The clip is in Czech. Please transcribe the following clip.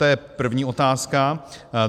To je první otázka.